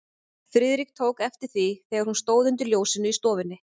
Friðrik tók eftir því, þegar hún stóð undir ljósinu í stofunni.